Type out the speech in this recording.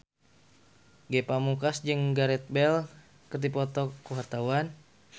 Ge Pamungkas jeung Gareth Bale keur dipoto ku wartawan